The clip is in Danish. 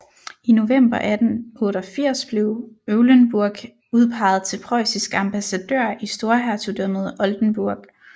I november 1888 blev Eulenburg udpeget til preussisk ambassadør i Storhertugdømmet Oldenburg